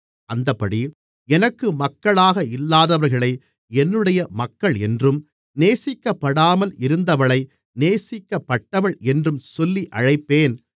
அந்தப்படி எனக்கு மக்களாக இல்லாதவர்களை என்னுடைய மக்கள் என்றும் நேசிக்கப்படாமல் இருந்தவளை நேசிக்கப்பட்டவள் என்றும் சொல்லி அழைப்பேன்